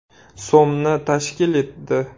so‘mni tashkil etdi.